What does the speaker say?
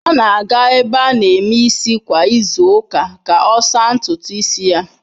Ọ na-aga ebe a na-eme nri kwa izu ụka ka ọ saa ntutu isi ya.